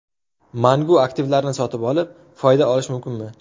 Mangu aktivlarini sotib olib, foyda olish mumkinmi?